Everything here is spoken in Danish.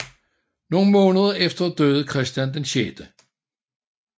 Nogle måneder efter døde Christian 6